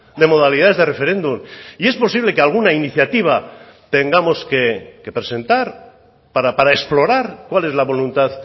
de modalidades de referéndum y es posible que alguna iniciativa tengamos que presentar para explorar cual es la voluntad